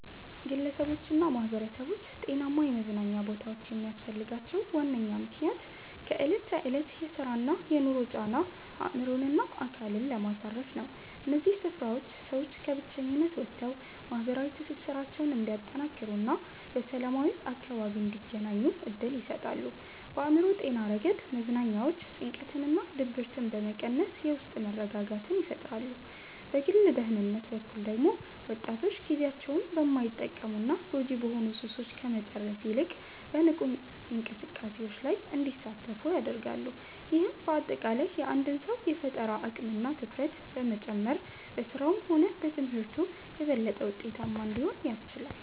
ግለሰቦችና ማኅበረሰቦች ጤናማ የመዝናኛ ቦታዎች የሚያስፈልጋቸው ዋነኛው ምክንያት ከዕለት ተዕለት የሥራና የኑሮ ጫና አእምሮንና አካልን ለማሳረፍ ነው። እነዚህ ስፍራዎች ሰዎች ከብቸኝነት ወጥተው ማኅበራዊ ትስስራቸውን እንዲያጠናክሩና በሰላማዊ አካባቢ እንዲገናኙ ዕድል ይሰጣሉ። በአእምሮ ጤና ረገድ መዝናኛዎች ጭንቀትንና ድብርትን በመቀነስ የውስጥ መረጋጋትን ይፈጥራሉ። በግል ደህንነት በኩል ደግሞ ወጣቶች ጊዜያቸውን በማይጠቅሙና ጎጂ በሆኑ ሱሶች ከመጨረስ ይልቅ በንቁ እንቅስቃሴዎች ላይ እንዲያሳልፉ ያደርጋሉ። ይህም በአጠቃላይ የአንድን ሰው የፈጠራ አቅምና ትኩረት በመጨመር በሥራውም ሆነ በትምህርቱ የበለጠ ምርታማ እንዲሆን ያስችላል።